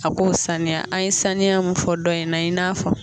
A k'o saniya an ye saniya mun fɔ dɔ in na i n'a fɔ